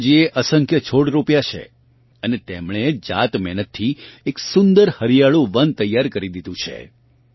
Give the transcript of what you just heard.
ચંપાજીએ અસંખ્ય છોડ રોપ્યા છે અને તેમણે જાતમહેનતથી એક સુંદર હરિયાળું વન તૈયાર કરી દીધું છે